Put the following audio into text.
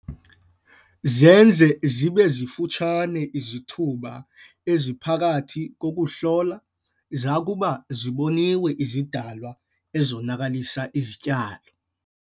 Zenze zibe zifutshane izithuba eziphakathi kokuhlola zakuba ziboniwe izidalwa ezonakalisa izityalo.